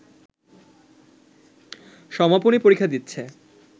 সমাপনী পরীক্ষা দিচ্ছে